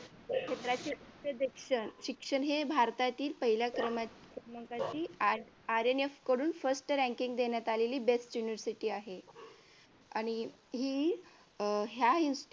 क्षेत्राचे उच्च शिक्षण हे भारतातील पहिल्या क्रमांकाचे INF कडून first ranking देण्यात आलेली best university आहे आणि हि अह ह्या